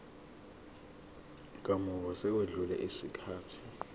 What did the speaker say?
kamuva sekwedlule isikhathi